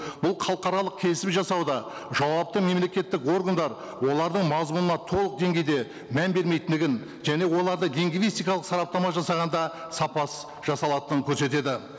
бұл халықаралық келісім жасауда жауапты мемлекеттік органдар олардың мазмұнына толық деңгейде мән бермейтіндігін және оларды лингвистикалық сараптама жасағанда сапасыз жасалатынын көрсетеді